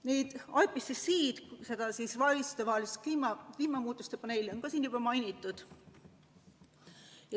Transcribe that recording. IPCC-d, seda valitsustevahelist kliimamuutuste paneeli, on ka siin juba mainitud.